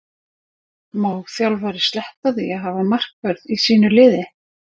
Má þjálfari sleppa því að hafa markvörð í sínu liði?